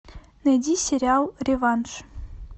найди сериал реванш